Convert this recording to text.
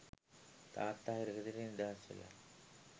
තාත්තා හිරගෙදරින් නිදහස් වෙලා